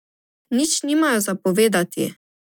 Nič nimajo za povedati.